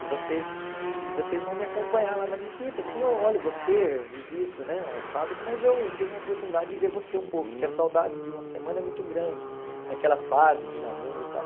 E vocês e vocês vão me acompanhar lá na visita, assim, eu olho você, visito né a fábrica, mas eu tenho a oportunidade de ver você um pouco, porque a saudade de uma semana é muito grande, naquela fase de namoro e tal.